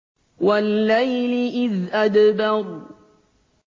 وَاللَّيْلِ إِذْ أَدْبَرَ